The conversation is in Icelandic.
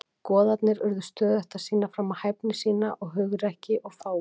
Goðarnir urðu stöðugt að sýna fram á hæfni sína, hugrekki og fágun.